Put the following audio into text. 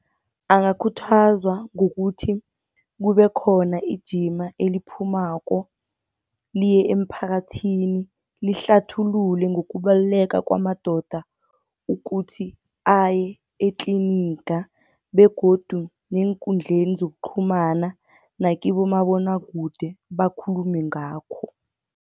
Angakhuthazwa kukuthi kube khona ijima eliphumako, liye emphakathini lihlathulule ngokubaluleka kwamadoda ukuthi aye etliniga. Begodu neenkundleni zokuqhumana nakibomabonwakude bakhulume ngakho.